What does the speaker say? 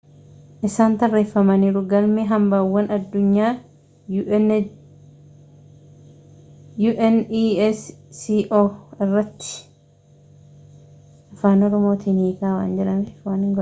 isaan tarreeffamaniiru galme hambawwaan addunyaa unesco irratti